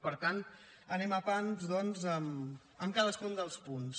per tant anem a pams doncs amb cadascun dels punts